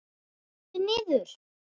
Sestu niður.